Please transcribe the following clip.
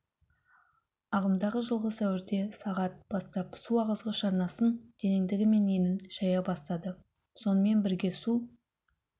ағымдағы жылғы сәуірде сағат бастап су ағызғыш арнасын тереңдігі мен енін шайа бастады сонымен бірге су